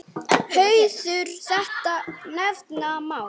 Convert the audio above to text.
Hauður þetta nefna má.